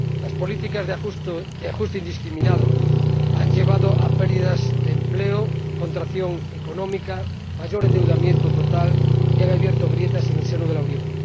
Las políticas de ajuste indiscriminado han llevado a pérdidas de empleo, contracción económica, mayor endeudamiento total y han abierto grietas en el seno de la Unión.